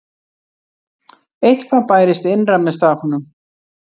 Eitthvað bærist innra með stráknum.